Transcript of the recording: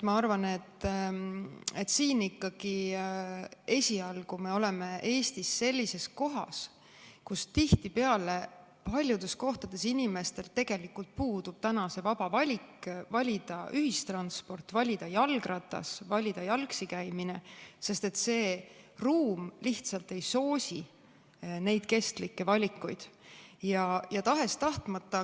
Ma arvan, et esialgu me oleme Eestis sellises seisus, et tihtipeale paljudes kohtades inimestel tegelikult puudub täna see vaba valik, kas valida ühistransport, jalgratas või jalgsi käimine, sest ruum lihtsalt ei soosi neid kestlikke valikuid.